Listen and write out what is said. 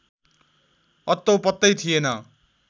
अत्तो पत्तै थिएन